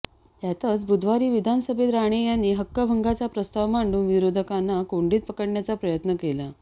त्यातच बुधवारी विधानसभेत राणे यांनी हक्कभंगाचा प्रस्ताव मांडून विरोधकांना कोंडीत पकडण्याचा प्रयत्न केला